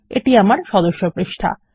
এটি আমার সদস্য পৃষ্ঠা